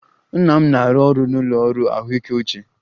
Nna m na-arụ ọrụ n'ụlọ ọrụ ahụike uche